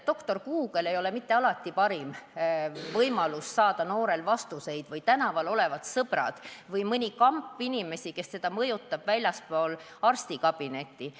Doktor Google ei ole alati parim võimalus noorel vastuseid saada, seda ei ole ka tänaval olevad sõbrad ega mõni muu kamp inimesi, kes mõjutavad teda väljaspool arstikabinetti.